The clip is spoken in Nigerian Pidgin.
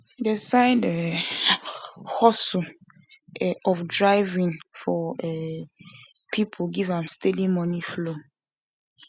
the side um hustle um of driving for um people give am steady money flow